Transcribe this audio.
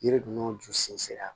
Yiri ninnu ju sen la